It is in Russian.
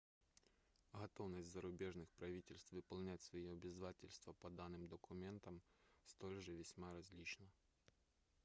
готовность зарубежных правительств выполнять свои обязательства по данным документам столь же весьма различна